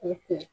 O kun